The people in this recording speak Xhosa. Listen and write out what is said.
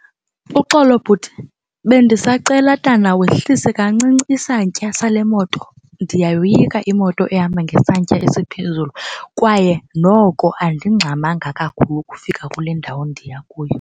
Uxolo bhuti, bendisacela tana wehlise kancinci isantya sale moto. Ndiyayoyika imoto ehamba ngesantya esiphezulu kwaye noko andingxamanga kakhulu ukufika kule ndawo ndiya kuyo.